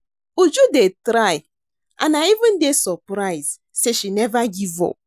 Uju dey try and I even dey surprised say she never give up